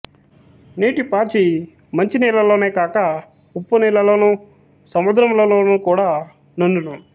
నీటి పాచి మంచి నీళ్ళలోనే గాక ఉప్పు నీళ్ళలోను సముద్రముల లోను కూడా నుండును